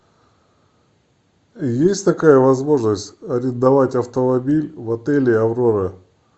есть такая возможность арендовать автомобиль в отеле аврора